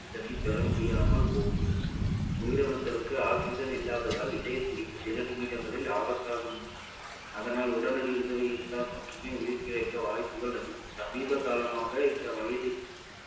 oxygen ஐ பெறமுடியாமல் போகும் உயிரணுக்களுக்கு oxygen இல்லாததால் இதயத்துடிப்பு சில நிமிடங்களில் ஆபத்தாக மாறி~ அதனால் உடனடி உதவி இருந்தால் மட்டுமே உயிர்பிழைக்க வாய்ப்புகள் அதிகம் சமீப காலமாக இந்த வயதில்